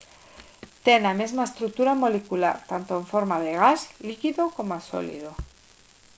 ten a mesma estrutura molecular tanto en forma de gas líquido coma sólido